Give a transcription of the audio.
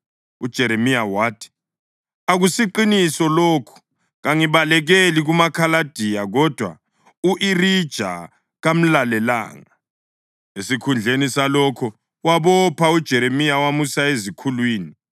UJeremiya wathi, “Akusiqiniso lokho! Kangibalekeli kumaKhaladiya.” Kodwa u-Irija kamlalelanga; esikhundleni salokho, wabopha uJeremiya wamusa ezikhulwini.